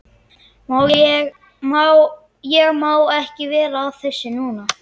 Ég má ekki vera að þessu núna.